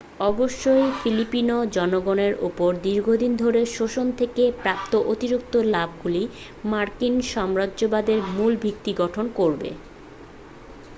অবশ্যই ফিলিপিনো জনগণের ওপর দীর্ঘদিন ধরে শোষণ থেকে প্রাপ্ত অতিরিক্ত লাভগুলি মার্কিন সাম্রাজ্যবাদের মূল ভিত্তি গঠন করবে